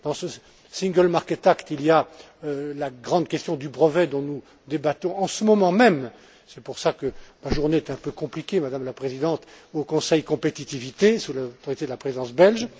Dans ce single market act il y a la grande question du brevet dont nous débattons en ce moment même c'est pour cela que ma journée était un peu compliquée, Madame la Présidente au Conseil Compétitivité, sous l'autorité de la Présidence belge.